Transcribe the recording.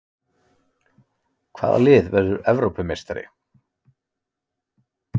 Hvaða lið verður Evrópumeistari?